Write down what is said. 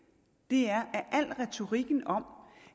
er at al retorikken om